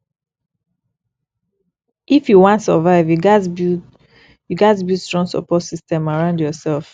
if you wan survive you gats build you gats build strong support system around yoursef